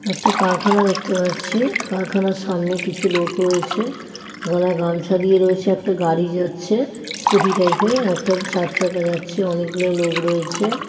একটা কারখানা দেখতে পাচ্ছি কারখানার সামনে কিছু লোক রয়েছে গলায় গামছা দিয়ে রয়েছে একটা গাড়ি যাচ্ছে স্কুটি টাইপের একটা চার চাকা যাচ্ছে অনেকগুলো লোক রয়েছে।